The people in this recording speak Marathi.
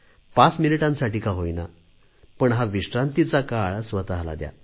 पाच मिनिटांसाठी का होईना पण हा विश्रांतीचा काळ स्वतला द्या